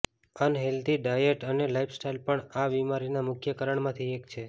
unhealthy diet અને lifestyle પણ આ બીમારીના મુખ્ય કારણમાંથી એક છે